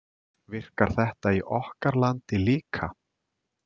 Virkar þetta í okkar landi líka?